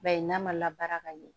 Ba ye n'a ma labaara ka ɲɛ